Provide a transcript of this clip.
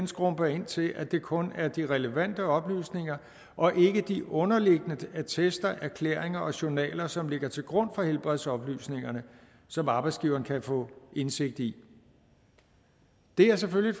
skrumper ind til at det kun er de relevante oplysninger og ikke de underliggende attester erklæringer og journaler som ligger til grund for helbredsoplysningerne som arbejdsgiveren kan få indsigt i det er selvfølgelig